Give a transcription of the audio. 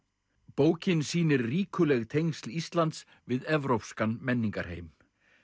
bókin sýnir ríkuleg tengsl Íslands við evrópskan menningarheim